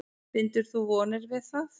Bindur þú vonir við það?